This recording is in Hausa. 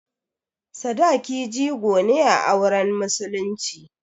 Sadaki jigo ne a auren musulunci.